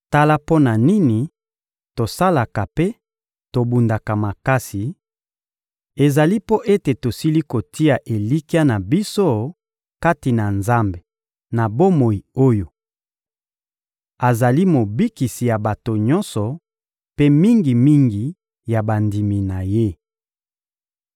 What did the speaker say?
Tala mpo na nini tosalaka mpe tobundaka makasi: ezali mpo ete tosili kotia elikya na biso kati na Nzambe na bomoi oyo azali Mobikisi ya bato nyonso mpe mingi-mingi ya bandimi na Ye.